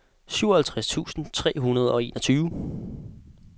syvoghalvtreds tusind tre hundrede og enogtyve